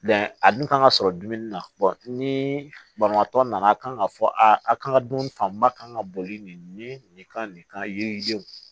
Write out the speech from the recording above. a dun kan ka sɔrɔ dumuni na ni banabaatɔ nana a kan k'a fɔ aa a kan ka dun fanba kan ka boli nin kan nin kan yiri denw